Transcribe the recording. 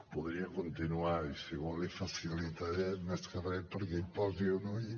podria continuar i si ho vol l’hi facilitaré més que re perquè hi posi un ull